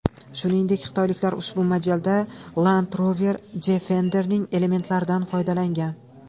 Shuningdek, xitoyliklar ushbu modelda Land Rover Defender’ning elementlaridan foydalangan.